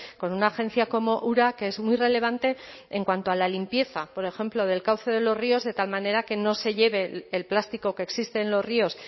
con una agencia como ura que es muy relevante en cuanto a la limpieza por ejemplo del cauce de los ríos de tal manera que no se lleve el plástico que existe en los ríos